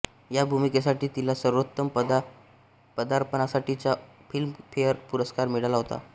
ह्या भूमिकेसाठी तिला सर्वोत्तम पदार्पणासाठीचा फिल्मफेअर पुरस्कार मिळाला होता